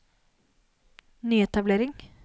nyetablering